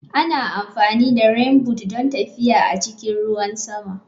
Ana amfani da Rainboot don tafiya a cikin ruwan sama.